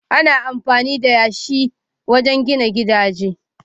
Ana amfani da yashi wajen gina gidaje